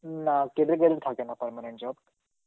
না থাকে না permanent job.